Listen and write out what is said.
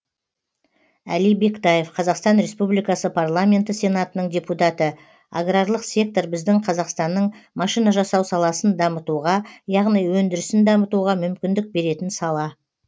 әли бектаев қазақстан республикасы парламенті сенатының депутаты аграрлық сектор біздің қазақстанның машина жасау саласындамытуға яғни өндірісін дамытуға мүмкіндік беретін сала